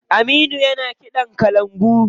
Aminu yana kiɗan kalangu.